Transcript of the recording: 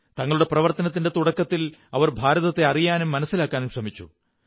തങ്ങളുടെ പ്രവര്ത്തരനത്തിന്റെ തുടക്കത്തിൽ അവർ ഭാരതത്തെ അറിയാനും മനസ്സിലാക്കാനും ശ്രമിച്ചു